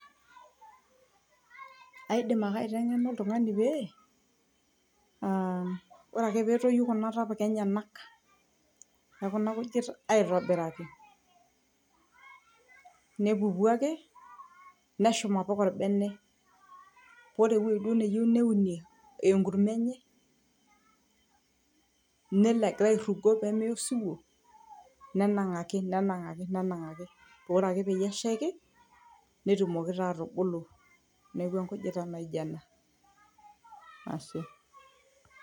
aidim ake aiteng'ena oltung'ani pee uh ore ake petoyu kuna tapuka enyenak ekuna kujit aitobiraki nepuku ake neshum apik orbene ore ewueji duo neyieu neunie enkurma enye nelo egira airrugo pemeya osiwuo nenang'aki nenang'aki nenang'aki pore ore ake peyie eshaiki netumoki taa atubulu neeku enkujita naijo ena ashe.